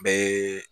Bɛɛ ye